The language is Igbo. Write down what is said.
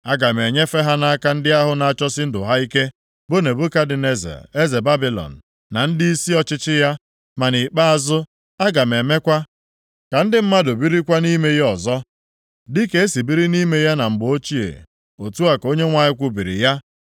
Aga m enyefe ha nʼaka ndị ahụ na-achọsi ndụ ha ike, bụ Nebukadneza eze Babilọn, na ndịisi ọchịchị ya. Ma nʼikpeazụ, aga m emekwa ka ndị mmadụ birikwa nʼime ya ọzọ, dịka e si biri nʼime ya na mgbe ochie.” Otu a ka Onyenwe anyị kwubiri ya.